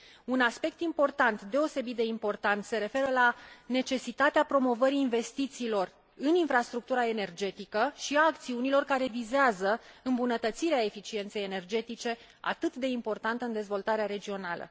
Un aspect deosebit de important se referă la necesitatea promovării investițiilor în infrastructura energetică și a acțiunilor care vizează îmbunătățirea eficienței energetice, atât de importantă în dezvoltarea regională.